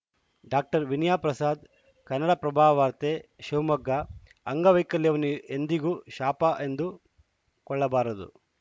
doctor Vinaya Prasad ಕನ್ನಡಪ್ರಭವಾರ್ತೆ ಶಿವಮೊಗ್ಗ ಅಂಗವೈಕಲ್ಯವನ್ನು ಎಂದಿಗೂ ಶಾಪ ಎಂದು ಕೊಳ್ಳಬಾರದು